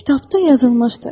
Kitabda yazılmışdı: